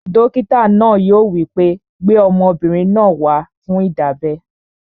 Dókítà náà yóò wí pé, "gbé ọmọbìnrin náà wá fún ìdábẹ́!"